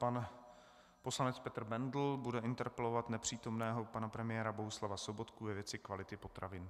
Pan poslanec Petr Bendl bude interpelovat nepřítomného pana premiéra Bohuslava Sobotku ve věci kvality potravin.